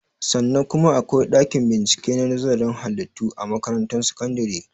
Sannan kuma akwai ɗakin bincike na nazarin halittu a makaratun sakandare